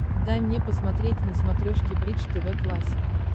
дай мне посмотреть на смотрешке бридж тв классик